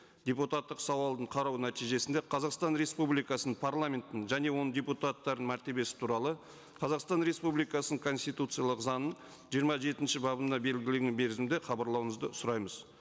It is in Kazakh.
депутаттық сауалдың қарау нәтижесінде қазақстан республикасының парламентінің және оның депутаттарының мәртебесі туралы қазақстан республикасының конституциялық заңының жиырма жетінші бабында белгілеген мерзімде хабарлауыңызды сұраймыз